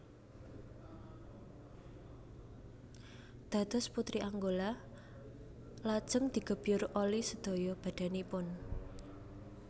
Dados putri Angola lajeng digebyur oli sedaya badhanipun